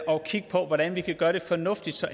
og kigge på hvordan vi kan gøre det fornuftigt så